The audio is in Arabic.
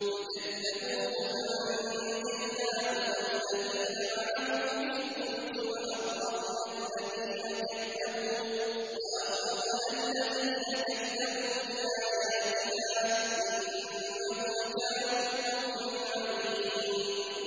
فَكَذَّبُوهُ فَأَنجَيْنَاهُ وَالَّذِينَ مَعَهُ فِي الْفُلْكِ وَأَغْرَقْنَا الَّذِينَ كَذَّبُوا بِآيَاتِنَا ۚ إِنَّهُمْ كَانُوا قَوْمًا عَمِينَ